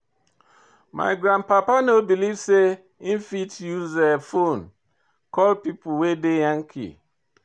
My grandpa no believe sey im fit use fone call pipo wey dey Yankee.